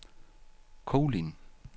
Kolind